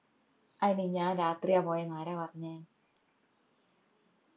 അയിന് ഞാൻ രാത്രിയാ പോയെന്ന് ആരാ പറഞ്ഞെ